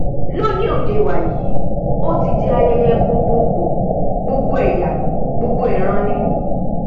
lóde òní wàyí ó ti di ayẹyẹ gbogbo gbòò gbogbo ẹyà gbogbo ìran ni